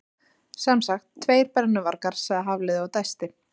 Sem sagt, tveir brennuvargar sagði Hafliði og dæsti.